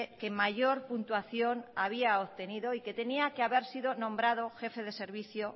que mayor puntuación había obtenido y que tenía que haber sido jefe de servicio